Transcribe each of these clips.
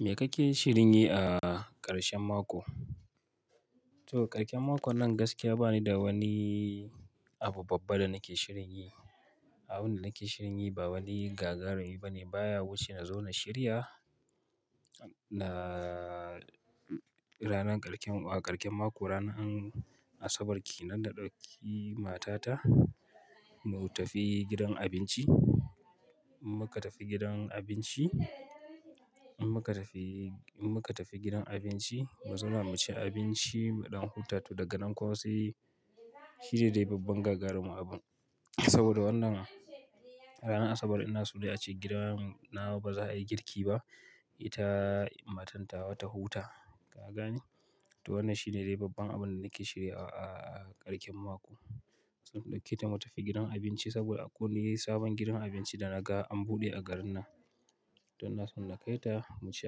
Me kake shirin yi a ƙarshen mako? To, ƙarshen mako nan gaskiya bani da wani abu babba da nake shirin yi. Abun da nake shirin yi ba wani gagarumi ba ne. Baya wuce na zo na shirya na ranar ƙarshen, ƙarshen mako ranar Asabar kenan da ɗauki matata mu tafi gidan abinci. Mu ka tafi gidan abinci, mu ka tafi, mu ka tafi gidan abinci mu zuna mu ci abinci mu ɗan huta. To daga nan kuma sai shi ne dai babban gagarumin abun. Saboda wannan ranar Asabar ina so dai ace gidan nawa ba za a yi girki ba. Ita matan tawa ta huta. Ka gane? To wannan shi ne dai babban abun da nake shirya a ƙarshen mako. Saboda kai ta mu tafi gidan abinci saboda akwai sabon gidan abinci da na ga an buɗe a garin nan. To na so na kai ta mu ci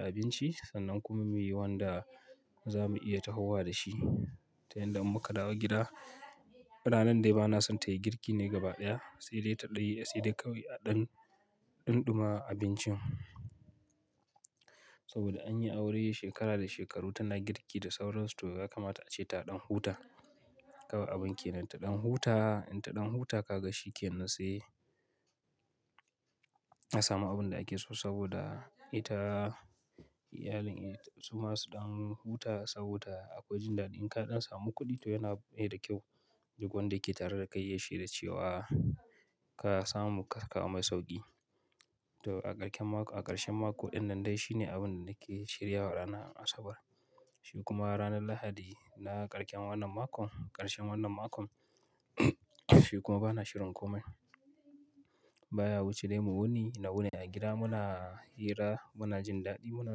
abinci sannan kuma muyi wanda za mu iya tahowa da shi. Ta yanda muka dawo gida, ranan dai ba na son ta yi girki ne gaba ɗaya. Sai dai ta ɗaya, sai dai kawai a ɗan ɗumama abincin. Saboda an yi aure shekara da shekaru tana girki da sauran su. To ya kamata a ce ta ɗan huta. Kawai abun kenan ta ɗan huta. In ta ɗan huta ka ga shi ke nan sai a samu abun da ake so saboda ita, iyalin ita su ma su ɗan huta. Saboda a koyi jin daɗi. In ka ɗan samu kuɗi to yana yi da kyau. Duk wanda yake tare da kai yayi shaida cewa ka samu karka a mai sauƙi. To a ƙarshen mako, a ƙarshen mako ɗin nan dai shi ne abun da nake shirya ranar Asabar. Shi kuma ranar Lahadi na ƙarshen wannan makon, ƙarshen wannan makon shi kuma bana shirin komai. Baya wuce dai mu wuni na wune a gida. Muna hira, muna jin daɗi, muna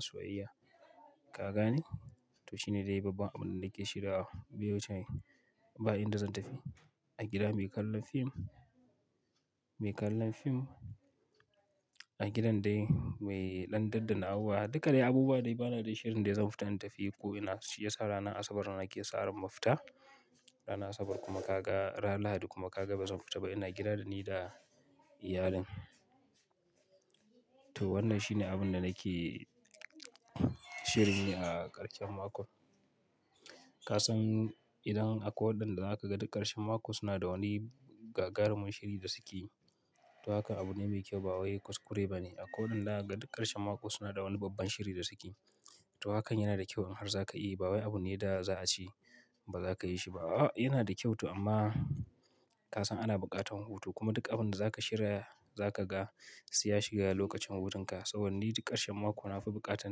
soyayya. Ka gane? To shi ne dai babban abun da nake shirya. Baye wuce dai, ba inda zan tafi. A gida mu yi kallon fim, mu yi kallon fim. A gidan dai mu yi ɗan daddana'uwa. Duka dai abubuwa dai ba na dai shirin dai zan fita in tafi ko ina. Shi ya sa ranar Asabar na ke sa ran ma fita. Ranar Asabar kuma ka ga, ranar Lahadi kuma ka ga bazan fita ba. Ina gida da ni da iyalin. To wannan shi ne abun da nake shirin yi a ƙarshen mako. Ka san idan a ko waɗanda aka ga duk ƙarshen mako suna da wani gagarumin shiri da suke yi. To haka abu ne mai kyau ba wai kuskure ba ne. A ko waɗanda aka ga duk ƙarshen mako suna da wani babban shiri da suke yi. To hakan yana da kyau in har za ka yi ba wai abune da za a ci ba za ka yi shi ba. A'a yana da kyau to amma ka san ana buƙatar hutu kuma duk abun da za ka shirya za ka ga sai ya shiga lokacin hutun ka. Saboda ni duk ƙarshen mako na fi buƙatar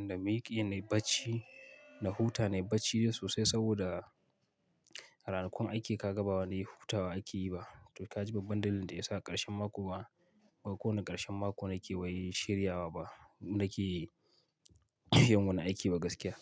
na maiƙi na yi bacci, na huta, na yi bacci sosai saboda a ranakun aiki ka ga ba wani hutawa ake yi ba. To ka ji babban dalilin da ya sa ƙarshen mako ba, ba ko wane ƙarshen mako nake yi bai shirya ba nake yin wani aiki ba gaskiya.